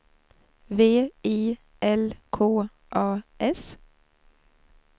V I L K A S